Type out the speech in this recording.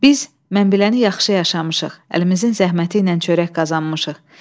Biz, mən beləni yaxşı yaşamışıq, əlimizin zəhməti ilə çörək qazanmışıq.